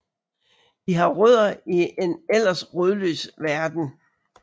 De har rødder i en ellers rodløs verden